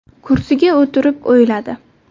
Kursiga o‘tirib o‘yladi.